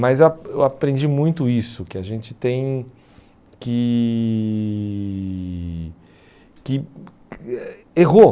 Mas ah eu aprendi muito isso, que a gente tem que... que eh Errou.